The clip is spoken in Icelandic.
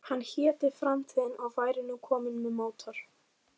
Hann héti Framtíðin og væri nú kominn með mótor.